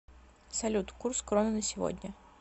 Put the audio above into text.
салют курс кроны на сегодня